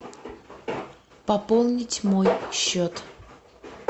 пополнить мой счет